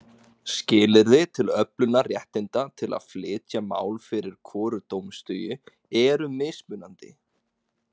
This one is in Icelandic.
Skilyrði til öflunar réttinda til að flytja mál fyrir hvoru dómstigi eru mismunandi.